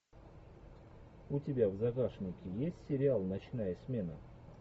у тебя в загашнике есть сериал ночная смена